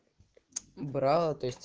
брала то есть